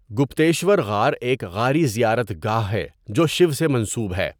گُپتیشور غار ایک غاری زیارت گاہ ہے جو شیو سے منسوب ہے۔